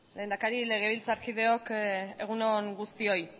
lehendakari legebiltzarkideok egun on guztioi